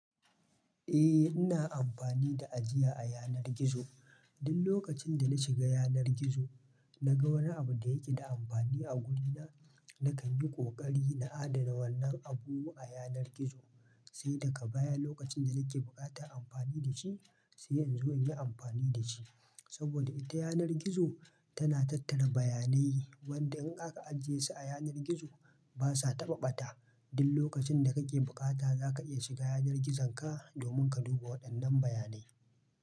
Eh, ina amfani da ajiya a yanar gizo. Duk lokacin da na shiga yanar gizo, na ga wani abu da yake da amfani a wurina, na kan yi ƙoƙari na adana wannan abubu a yanar gizo, sai daga baya lokacin da nake buƙatar amfani da shi, sai in zo in yi amfani da shi. Saboda ita yanar gizo tana tattara bayanai, wanda in aka ajiye su a yanar gizo, ba sa taɓa ɓata. Duk lokacin da kake bukata za ka iya shiga yanar gizonka domin ka duba waɗannan bayanai.